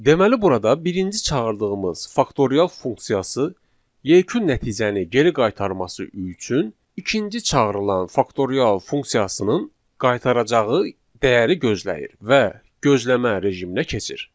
Deməli burada birinci çağırdığımız faktorial funksiyası yekun nəticəni geri qaytarması üçün ikinci çağırılan faktorial funksiyasının qaytaracağı dəyəri gözləyir və gözləmə rejiminə keçir.